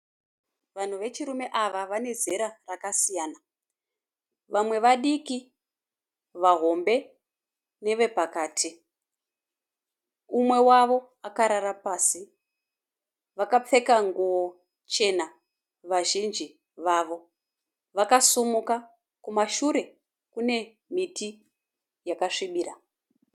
Vanhu vechirume ava vane zera rakasiyana. Vamwe vadiki, vahombe nevepakati. Umwe wavo akarara pasi. Vakapfeka nguwo chena vazhinji vavo. Vakasumuka. Kumasure kune miti yakasvibira.